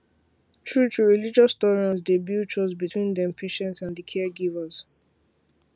truetrue religious tolerance dey build trust between dem patients and di caregivers